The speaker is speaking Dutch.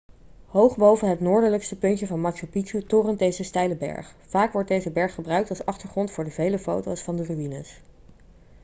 hoog boven het noordelijkste puntje van machu picchu torent deze steile berg vaak wordt deze berg gebruikt als achtergrond voor de vele foto's van de ruïnes